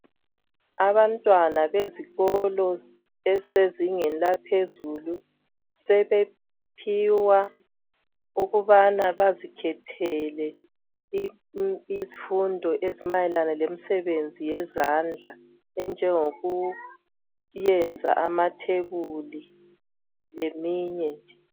Abantwana bezikolo ezisezingeni laphezulu sebephiwa okubana bazikhethele isifundo ezimayena lemisebenzi yezandla enjengokuyenza amathebuli leminye nje.